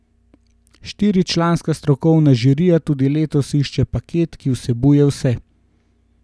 Štiričlanska strokovna žirija tudi letos išče paket, ki vsebuje vse.